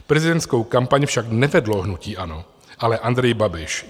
Prezidentskou kampaň však nevedlo hnutí ANO, ale Andrej Babiš.